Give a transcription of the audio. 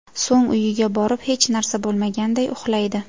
So‘ng uyiga borib hech narsa bo‘lmaganday uxlaydi.